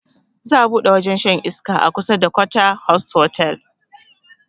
Za a buɗe wajen shan iska a kusa da quarter house otal